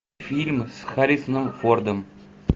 фильмы с харрисоном фордом